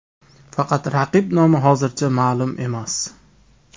Faqat raqib nomi hozircha ma’lum emas.